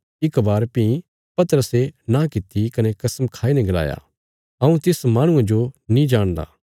इक बार भीं पतरसे नां किति कने कसम खाई ने गलाया हऊँ तिस माहणुये जो नीं जाणदा